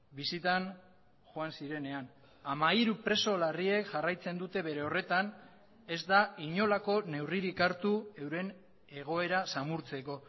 bisitan joan zirenean hamairu preso larriek jarraitzen dute bere horretan ez da inolako neurririk hartu euren egoera samurtzeko